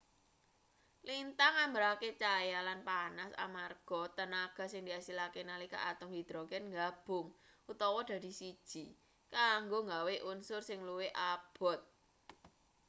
lintang nggambarake cahya lan panas amarga tenaga sing diasilake nalika atom hidrogen nggabung utawa dadi siji kanggo nggawe unsur sing luwih abot